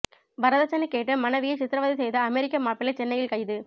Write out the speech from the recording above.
வரதட்சணை கேட்டு மனைவியை சித்ரவதை செய்த அமெரிக்க மாப்பிள்ளை சென்னையில் கைது